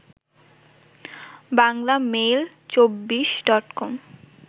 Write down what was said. বাংলামেইল২৪ডটকম